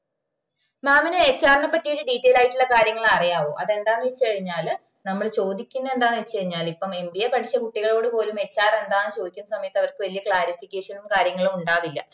mamHR നെ പറ്റി ഒര് detail ആയിട്ടുള്ള കാര്യങ്ങള് അറിയോ അതെന്താണ് വെച് കഴിഞ്ഞാല് നമ്മള് ചോദിക്കുന്ന എന്താന്ന് വെച്ച് കഴിഞ്ഞാല് ഇപ്പം MBA പഠിച്ച കുട്ടികളോട് പോലും HR എന്താന്ന് ചോദിക്കുന്ന സമയത്ത് അവർക്ക് വല്യ clarification നും കാര്യങ്ങളും ഉണ്ടാവില്ല